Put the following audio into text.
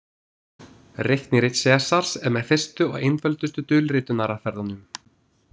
Reiknirit Sesars er með fyrstu og einföldustu dulritunaraðferðunum.